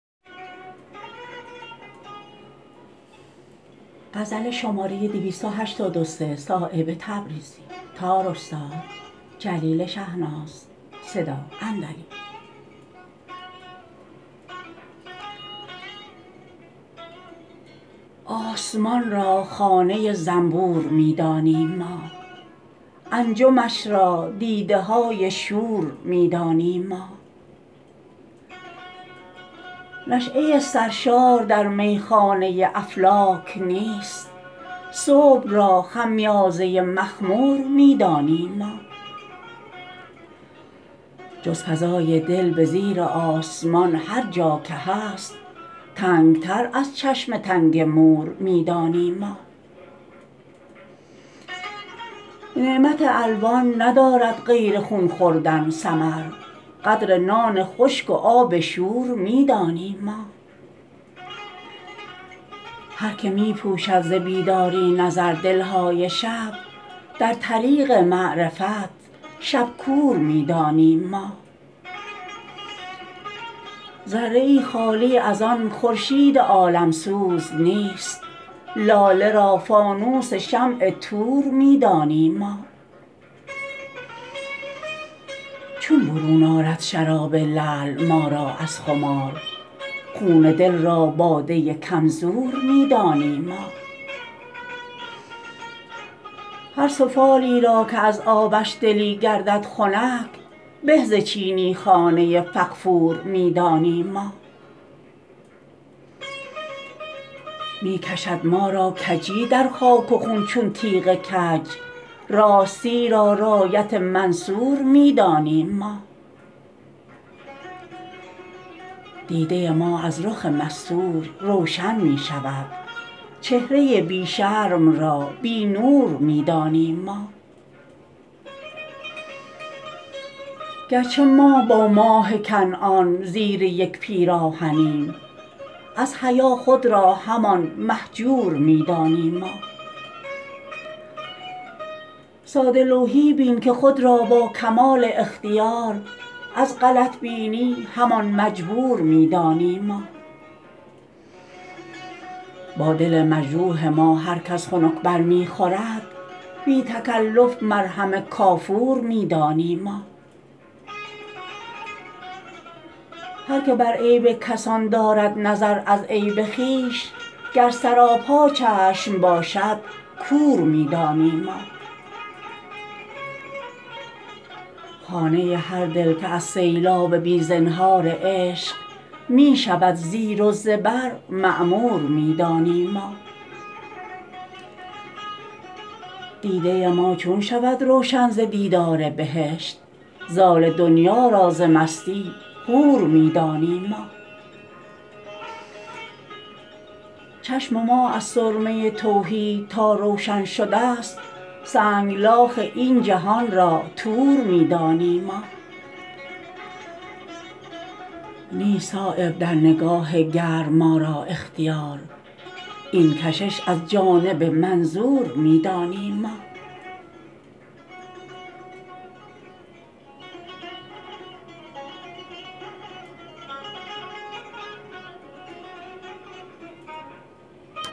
آسمان را خانه زنبور می دانیم ما انجمش را دیده های شور می دانیم ما نشأه سرشار در میخانه افلاک نیست صبح را خمیازه مخمور می دانیم ما جز فضای دل به زیر آسمان هر جا که هست تنگتر از چشم تنگ مور می دانیم ما نعمت الوان ندارد غیر خون خوردن ثمر قدر نان خشک و آب شور می دانیم ما هر که می پوشد ز بیداری نظر دلهای شب در طریق معرفت شبکور می دانیم ما ذره ای خالی ازان خورشید عالمسوز نیست لاله را فانوس شمع طور می دانیم ما چون برون آرد شراب لعل ما را از خمار خون دل را باده کم زور می دانیم ما هر سفالی را که از آبش دلی گردد خنک به ز چینی خانه فغفور می دانیم ما می کشد ما را کجی در خاک و خون چون تیغ کج راستی را رایت منصور می دانیم ما دیده ما از رخ مستور روشن می شود چهره بی شرم را بی نور می دانیم ما گرچه ما با ماه کنعان زیر یک پیراهنیم از حیا خود را همان مهجور می دانیم ما ساده لوحی بین که خود را با کمال اختیار از غلط بینی همان مجبور می دانیم ما با دل مجروح ما هر کس خنک بر می خورد بی تکلف مرهم کافور می دانیم ما هر که بر عیب کسان دارد نظر از عیب خویش گر سراپا چشم باشد کور می دانیم ما خانه هر دل که از سیلاب بی زنهار عشق می شود زیر و زبر معمور می دانیم ما دیده ما چون شود روشن ز دیدار بهشت زال دنیا را ز مستی حور می دانیم ما چشم ما از سرمه توحید تا روشن شده است سنگلاخ این جهان را طور می دانیم ما نیست صایب در نگاه گرم ما را اختیار این کشش از جانب منظور می دانیم ما